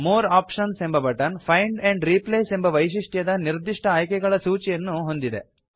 more options ಎಂಬ button find and replace ಎಂಬ ವೈಶಿಷ್ಟ್ಯದ ನಿರ್ದಿಷ್ಟ ಆಯ್ಕೆಗಳ ಸೂಚಿಯನ್ನು ಹೊಂದಿದೆ